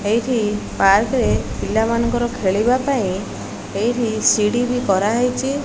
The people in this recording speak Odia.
ଏଇଠି ପାର୍କ ରେ ପିଲାମାନଙ୍କର ଖେଳିବାପାଇଁ ଏଇଠି ସିଡ଼ିବି କରାହେଇଛି।